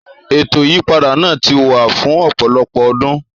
Ètò ìyípadà náà ti wà fún ọ̀pọ̀lọpọ̀ ọdún,